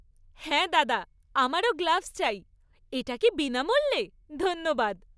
হ্যাঁ দাদা, আমারও গ্লাভস চাই। এটা কী বিনামূল্যে? ধন্যবাদ!